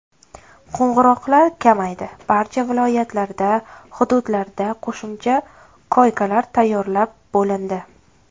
Qo‘ng‘iroqlar kamaydi, barcha viloyatlarda, hududlarda qo‘shimcha koykalar tayyorlab bo‘lindi.